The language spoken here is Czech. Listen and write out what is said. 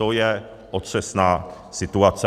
To je otřesná situace.